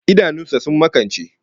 Idanun sa sun makance